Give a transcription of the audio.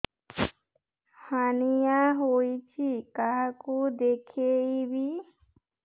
hernia ହୋଇଛି କାହାକୁ ଦେଖେଇବି